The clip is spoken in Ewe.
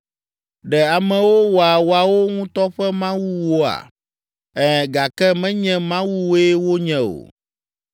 Ɖe amewo wɔa woawo ŋutɔ ƒe mawuwoa? Ɛ̃, gake menye mawuwoe wonye o!”